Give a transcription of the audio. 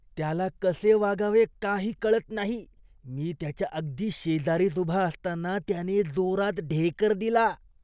त्याला कसे वागावे काही कळत नाही. मी त्याच्या अगदी शेजारीच उभा असताना त्याने जोरात ढेकर दिला.